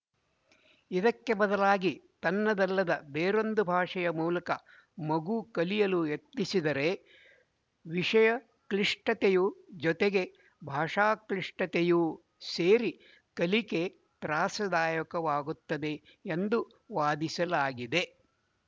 ಇದಕ್ಕೆ ಬದಲಾಗಿ ತನ್ನದಲ್ಲದ ಬೇರೊಂದು ಭಾಷೆಯ ಮೂಲಕ ಮಗು ಕಲಿಯಲು ಯತ್ನಿಸಿದರೆ ವಿಶಯ ಕ್ಲಿಷ್ಟತೆಯ ಜೊತೆಗೆ ಭಾಷಾಕ್ಲಿಷ್ಟತೆಯೂ ಸೇರಿ ಕಲಿಕೆ ತ್ರಾಸದಾಯಕವಾಗುತ್ತದೆ ಎಂದು ವಾದಿಸಲಾಗಿದೆ